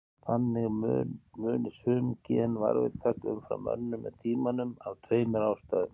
Þannig muni sum gen varðveitast umfram önnur með tímanum af tveimur ástæðum.